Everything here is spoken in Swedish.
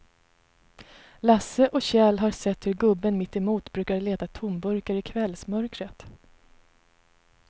Lasse och Kjell har sett hur gubben mittemot brukar leta tomburkar i kvällsmörkret.